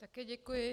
Také děkuji.